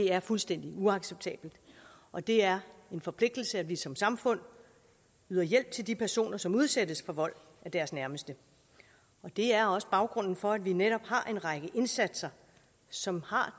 er fuldstændig uacceptabelt og det er en forpligtelse at vi som samfund yder hjælp til de personer som udsættes for vold af deres nærmeste og det er også baggrunden for at vi netop har en række indsatser som har